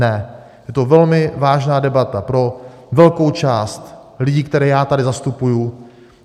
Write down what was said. Ne, je to velmi vážná debata pro velkou část lidí, které já tady zastupuji.